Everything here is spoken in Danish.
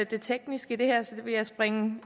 det tekniske i det her så det vil jeg springe